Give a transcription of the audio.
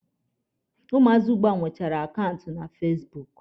Ụmụazị ugbua nwechara akaụntụ na fasibuuku.